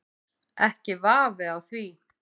Ekki vafi á því.